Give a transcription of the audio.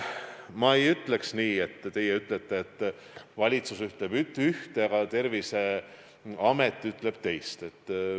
Ma ei ütleks nii, nagu teie ütlete, et valitsus ütleb ühte, aga Terviseamet ütleb teist.